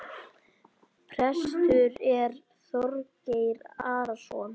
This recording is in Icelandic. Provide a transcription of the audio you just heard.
Prestur er Þorgeir Arason.